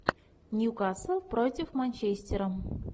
ньюкасл против манчестера